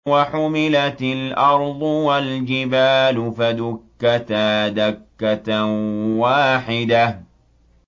وَحُمِلَتِ الْأَرْضُ وَالْجِبَالُ فَدُكَّتَا دَكَّةً وَاحِدَةً